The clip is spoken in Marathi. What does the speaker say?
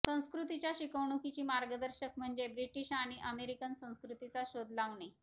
संस्कृतीच्या शिकवणूकीची मार्गदर्शक म्हणजे ब्रिटिश आणि अमेरिकन संस्कृतीचा शोध लावणे